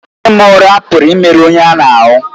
Ịra ụra pụrụ imerụ onye ahụ ahụ́